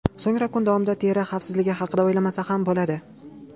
So‘ngra kun davomida teri xavfsizligi haqida o‘ylamasa ham bo‘ladi.